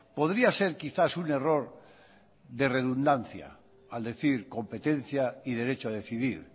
podría ser quizás un error de redundancia al decir competencia y derecho a decidir